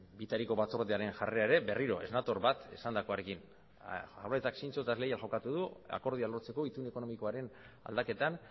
bitariko batzordearen jarrera ere berriro ez nator bat esandakoarekin jaurlaritzak zintzo eta leial jokatu du akordioa lortzeko itun ekonomikoaren aldaketan